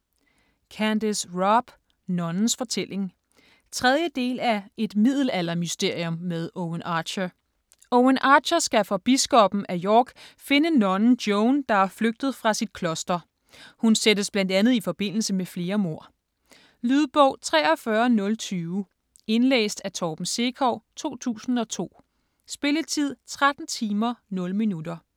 Robb, Candace: Nonnens fortælling 3. del af Et middelaldermysterium med Owen Archer. Owen Archer skal for biskoppen af York finde nonnen Joanne, der er flygtet fra sit kloster. Hun sættes bl.a. i forbindelse med flere mord. Lydbog 43020 Indlæst af Torben Sekov, 2002. Spilletid: 13 timer, 0 minutter.